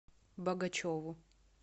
богачеву